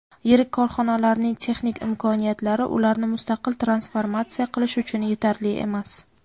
yirik korxonalarning texnik imkoniyatlari ularni mustaqil transformatsiya qilish uchun yetarli emas.